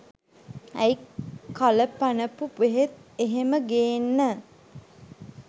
ඇයි කල පැනපු බෙහෙත් එහෙම ගේන්න